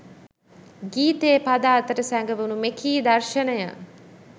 ගීතයේ පද අතර සැඟවුණු මෙකී දර්ශනය